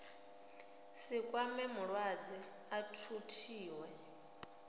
si kwame mulwadze a thuthiwe